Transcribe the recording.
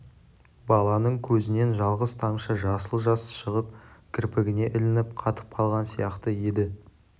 баланың көзінен жалғыз тамшы жасыл жас шығып кірпігіне ілініп қатып қалған сияқты еді